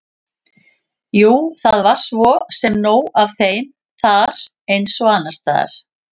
Jú, það var svo sem nóg af þeim þar eins og annars staðar.